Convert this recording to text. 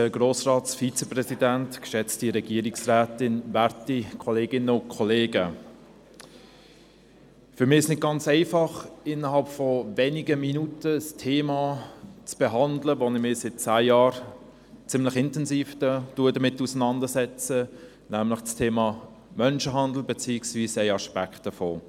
Für mich ist es nicht ganz einfach, innerhalb von wenigen Minuten das Thema zu behandeln, mit welchem ich mich seit zehn Jahren ziemlich intensiv auseinandersetz, nämlich das Thema Menschenhandel beziehungsweise ein Aspekt davon.